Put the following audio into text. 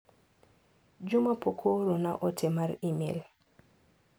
Juma pok oorona ote mar imel